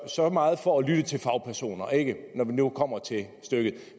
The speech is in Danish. så meget for at lytte til fagpersoner ikke når det nu kommer til stykket